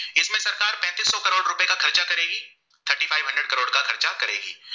सुचन करेगी